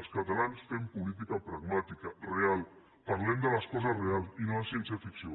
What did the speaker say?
els catalans fem política pragmàtica real parlem de les coses reals i no de ciència ficció